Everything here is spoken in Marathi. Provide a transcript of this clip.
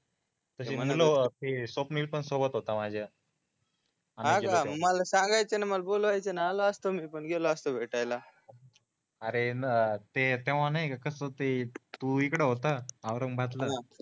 मन्ह्न्लो स्वप्नील पण सोबत होता माझ्या हाका मग मला सांगायचं न मला बोलवायचं न आलो असतो मी पण गेलो असतो भेटायला अरे ते तेव्हा नाहीका कस ते तू इकडे होता औरंगबादला